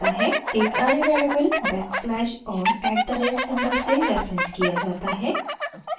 एक array variable backslash और at the rate@ symbol से रेफरेन्स किया जाता है